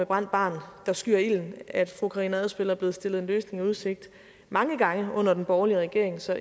brændt barn der skyr ilden at fru karina adsbøl er blevet stillet en løsning i udsigt mange gange under den borgerlige regering så